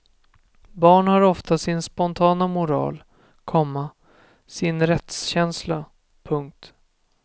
Barn har ofta kvar sin spontana moral, komma sin rättskänsla. punkt